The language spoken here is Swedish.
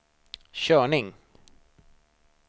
körning